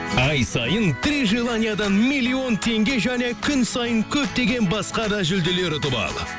ай сайын три желаниядан миллион теңге және күн сайын көптеген басқа да жүлделер ұтып ал